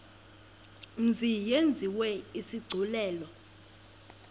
mzi yenziwe isigculelo